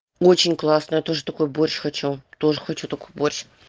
очень классно тоже такой борщ хочу тоже хочу такой борщ